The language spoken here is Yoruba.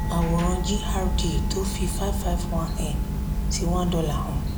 àwòrán gdr tó fi n551/$1 hàn